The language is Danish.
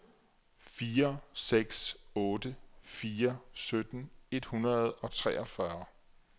fire seks otte fire sytten et hundrede og treogfyrre